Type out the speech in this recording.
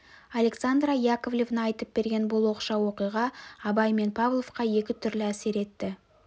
александра яковлевна айтып берген бұл оқшау оқиға абай мен павловқа екі түрлі әсер етті